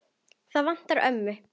Það vantaði ömmu.